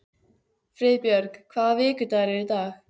Friðbjörg, hvaða vikudagur er í dag?